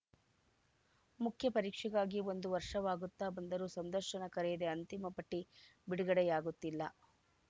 ಮುಖ್ಯ ಪರೀಕ್ಷೆಗಾಗಿ ಒಂದು ವರ್ಷವಾಗುತ್ತಾ ಬಂದರೂ ಸಂದರ್ಶನ ಕರೆಯದೇ ಅಂತಿಮ ಪಟ್ಟಿಬಿಡುಗಡೆಯಾಗುತ್ತಿಲ್ಲ